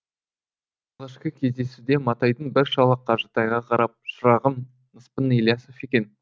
алғашқы кездесуде матайдың бір шалы қажытайға қарап шырағым ныспың ілиясов екен